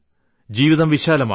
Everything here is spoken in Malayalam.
ജീവിതം വിശാലമാണ്